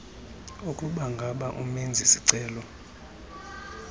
ukubangaba umenzi sicelo